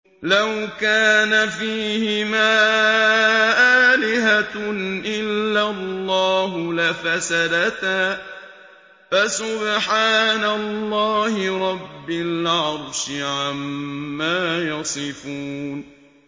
لَوْ كَانَ فِيهِمَا آلِهَةٌ إِلَّا اللَّهُ لَفَسَدَتَا ۚ فَسُبْحَانَ اللَّهِ رَبِّ الْعَرْشِ عَمَّا يَصِفُونَ